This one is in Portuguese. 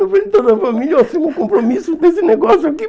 Na frente de toda a família, eu assumo o compromisso desse negócio aqui.